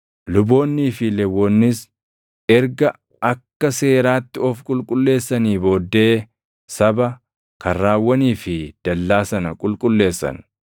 Luboonnii fi Lewwonnis erga akka seeraatti of qulqulleessanii booddee saba, karrawwanii fi dallaa sana qulqulleessan.